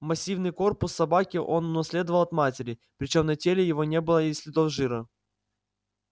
массивный корпус собаки он унаследовал от матери причём на теле его не было и следов жира